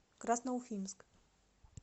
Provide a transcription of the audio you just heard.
красноуфимск